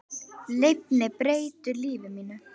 Lyfin breyttu lífi mínu.